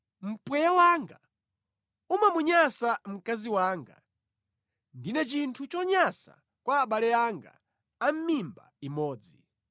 Mpweya wanga umamunyansa mkazi wanga; ndine chinthu chonyansa kwa abale anga a mimba imodzi.